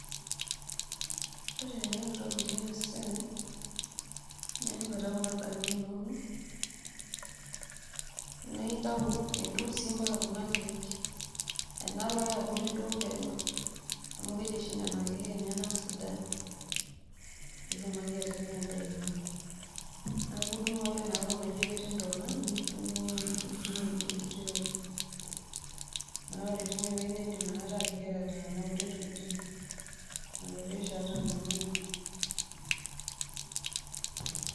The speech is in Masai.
Ore eneikoni teneitobiri ena siaai nintau kuna dhania inono midung' sii mpaka kuna keek enaalo ake eabori peneu amu keji oshi nena keek enyena sidan piitumoki atipika indaa ino, naaku idung' ake enaalo naji ketii intona, nidung'oo enkiti weji naa ore teine weji naa iindim inakata ateyara nenia kutii tokitin inaureshata enana.